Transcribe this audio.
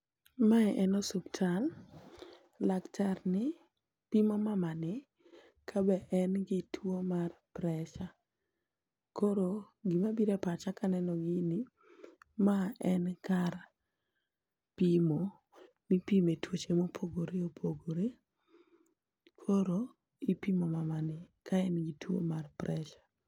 mae en hospital laktar ni pimo mama ni ka be en gi tuo mar pressure koro gima bire pacha kaneno gini ma en kar pimo mipime tuoche mopogore opogore koro ipimo mama ni ka en gi tuo mar pressure